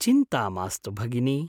चिन्ता मास्तु भगिनि।